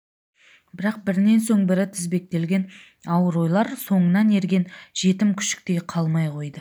бірақ бірінен соң бірі тізбектелген ауыр ойлар соңынан ерген жетім күшіктей қалмай қойды